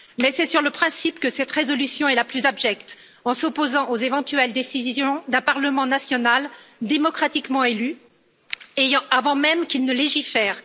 Mais c'est sur le principe que cette résolution et la plus abjecte, en s'opposant aux éventuelles décisions d'un parlement national démocratiquement élu avant même qu'il ne légifère.